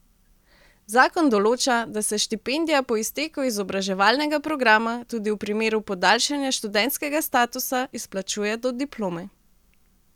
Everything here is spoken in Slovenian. Zakon določa, da se štipendija po izteku izobraževalnega programa, tudi v primeru podaljšanja študentskega statusa, izplačuje do diplome.